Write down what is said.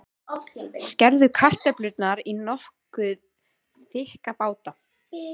Skerðu kartöflurnar í nokkuð þykka báta.